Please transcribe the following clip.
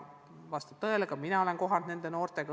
Vastab tõele, et ka mina olen kohtunud nende noortega.